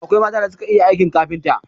Akwai mata da suka iya aikin kafinta